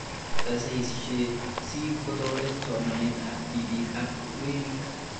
Saisaishet si kotoret somanet ab tipik ak werik